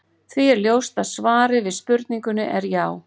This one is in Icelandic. Því er ljóst að svarið við spurningunni er já.